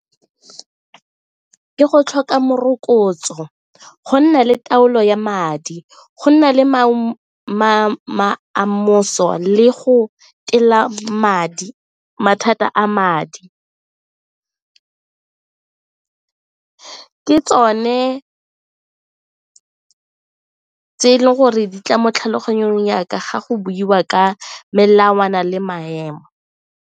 Ke go tlhoka morokotso, go nna le taolo ya madi, go nna le go tila madi mathata a madi. Ke tsone tse e leng gore di tla mo tlhaloganyong ya ka ga go buiwa ka melawana le maemo.